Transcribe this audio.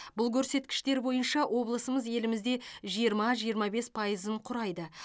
бұл көрсеткіштер бойынша облысымыз елімізде жиырма жиырма бес пайызын құрайды